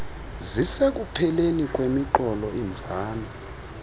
zisekupheleni kwemiqolo imvano